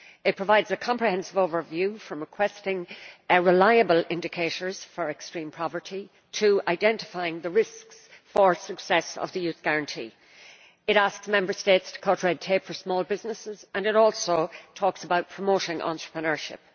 It provides a comprehensive overview, from requesting a reliable indicator for extreme poverty to identifying risks to the success of the Youth Guarantee. It asks Member States to cut red tape for small businesses, and it also talks about promoting entrepreneurship.